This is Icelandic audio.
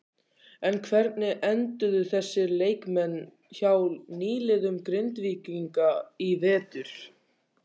En hvernig enduðu þessir leikmenn hjá nýliðum Grindvíkinga í vetur?